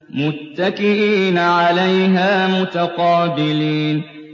مُّتَّكِئِينَ عَلَيْهَا مُتَقَابِلِينَ